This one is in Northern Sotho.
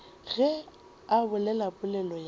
ge a bolela polelo ya